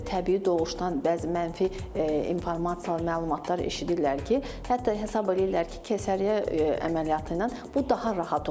Təbii doğuşdan bəzi mənfi informatsiyalar, məlumatlar eşidirlər ki, hətta hesab edirlər ki, keysəriyyə əməliyyatı ilə bu daha rahat olacaq.